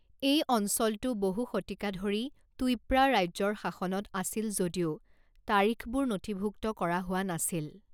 এই অঞ্চলটো বহু শতিকা ধৰি টুইপ্ৰা ৰাজ্যৰ শাসনত আছিল যদিও, তাৰিখবোৰ নথিভুক্ত কৰা হোৱা নাছিল।